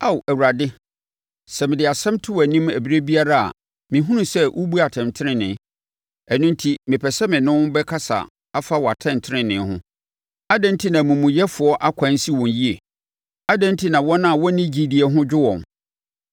Ao Awurade, sɛ mede asɛm to wʼanim ɛberɛ biara a mehunu sɛ wobu atɛntenenee. Ɛno enti, mepɛ sɛ mene wo bɛkasa afa wʼatɛntenenee ho: Adɛn enti na amumuyɛfoɔ ɛkwan si wɔn yie? Adɛn enti na wɔn a wɔnni gyidie ho dwo wɔn?